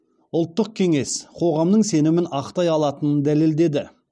ұлттық кеңес қоғамның сенімін ақтай алатынын дәлелдеді